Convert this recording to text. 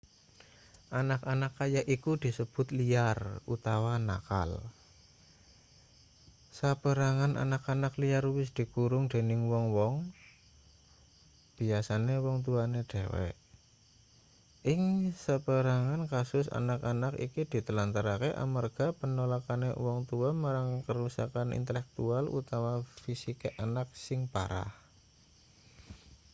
anak-anak kaya iku disebut liar” utawa nakal. saperangan anak- anak liar uwis dikurung dening wong-wong biasane uwong tuwane dhewe; ing saperangan kasus anak-anak iki ditelantarke amarga penolakane uwong tuwa marang kerusakan intelektual utawa fisike anak sing parah